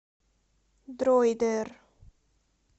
дроидер